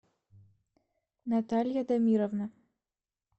наталья дамировна